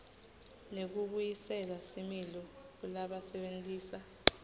nekubuyisela similo kulabasebentisa